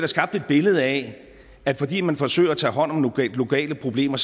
skabt et billede af at fordi man forsøger at tage hånd om globale problemer